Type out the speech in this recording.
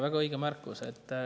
Väga õige märkus.